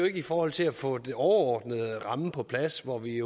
ikke i forhold til at få den overordnede ramme på plads hvor vi